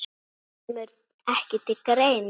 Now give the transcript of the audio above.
Kemur ekki til greina